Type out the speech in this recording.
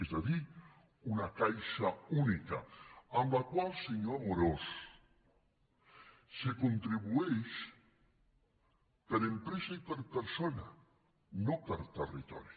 és a dir una caixa única a la qual senyor amorós se contribueix per empresa i per persona no per territori